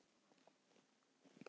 Ekki nóg með að